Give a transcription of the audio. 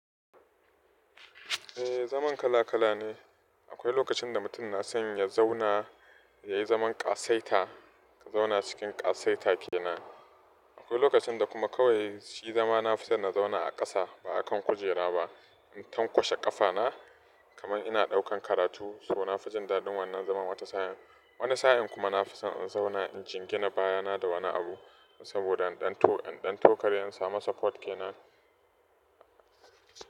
Eh, zaman kala kala ne. Akwai lokacin da mutum na son ya zauna, ya yi zaman ƙasaita, ka zauna cikin ƙasaita ke nan. Akwai lokacin da kuma kawai shi zama na fi son na zauna a ƙasa ba a kan kujera ba, in tanƙwashe ƙafa na kamar ina ɗaukan karatu, so na fi jin daɗin wannan zaman wata sa'in. Wani sa'in kuma na fi son in zauna in jingina baya na da wani abu saboda in ɗan to, in ɗan tokare in samu support ke nan.